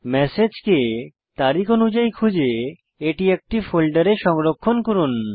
ম্যাসেজকে তারিখ অনুযায়ী খুঁজে এটি একটি ফোল্ডারে সংরক্ষণ করুন